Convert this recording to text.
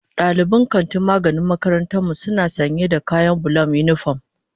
Dalibin kantin magani a makarantar mu suna sanya da kayan bulan unipom.